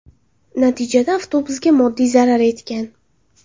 Natijada avtobusga moddiy zarar yetgan.